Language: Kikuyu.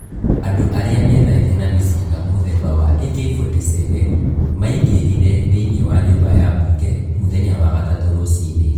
Andu arĩa methaĩte na mĩcinga muthemba wa AK47, maingĩrĩre thi-iniĩ wa nyumba ya mbunge mũthenya wa gatatũ rũci-inĩ